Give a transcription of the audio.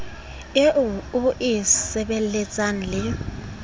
eo e e sebelletsang le